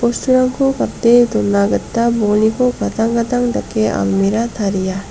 gate dona gita bolniko gadang gadang dake almera taria.